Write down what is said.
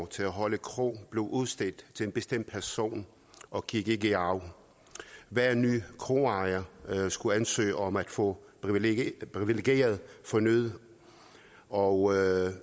til at holde kro blev udstedt til en bestemt person og gik ikke i arv hver ny kroejer skulle ansøge om at få privilegiet privilegiet fornyet og